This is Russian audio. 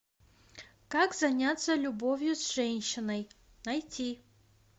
как заняться любовью с женщиной найти